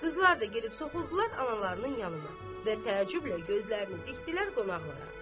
Qızlar da gedib soxuldular analarının yanına və təəccüblə gözlərini dikdilər qonaqlara.